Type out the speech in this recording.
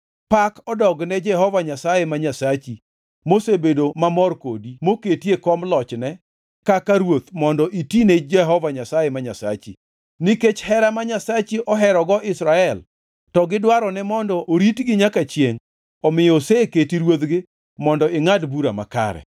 Pak odogne Jehova Nyasaye ma Nyasachi mosebedo mamor kodi moketi e kom lochne kaka ruoth mondo itine Jehova Nyasaye ma Nyasachi. Nikech hera ma Nyasachi oherogo Israel to gi dwarone mondo oritgi nyaka chiengʼ omiyo oseketi ruodhgi mondo ingʼad bura makare.”